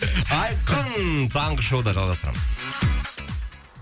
айқын таңғы шоуда жалғастырамыз